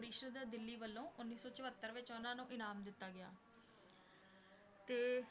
ਪ੍ਰੀਸ਼ਦ ਦਿੱਲੀ ਵੱਲੋਂ ਉੱਨੀ ਸੌ ਚੁਹੱਤਰ ਵਿੱਚ ਉਹਨਾਂ ਨੂੰ ਇਨਾਮ ਦਿੱਤਾ ਗਿਆ ਤੇ